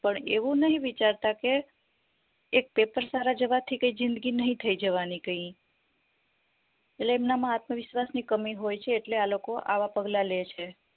પણ એવું નહિ વિચારતા કે એ paper સારા જવાથી કય જિંદગી નહિ થય જવાની કય એટલે એમના માં આત્મવિશ્વાસ ની કમી હોય છે એટલે આ લોકો આવા પગલા લેય છે